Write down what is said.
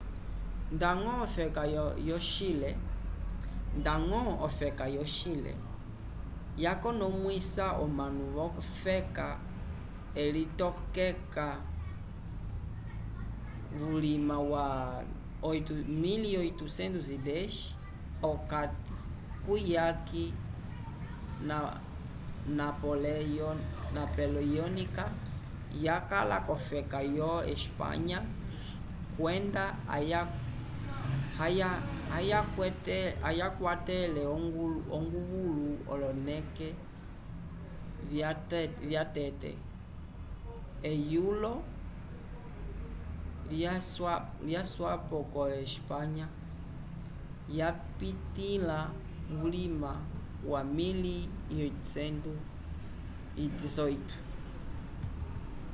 ndañgo ofeka yo chile yakonomwisa omanu v’ofeka elitokeka vulima wa 1810 p’okati kuyaki napoleyonika yakala k’ofeka yo espanya kwenda ayakwetele onguvulu oloneke vyatete eyulo lyaswapo ko espanha yapitĩla vulima wa 1818